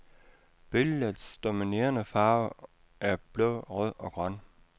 Billedets dominerende farver er blå, rød og grøn.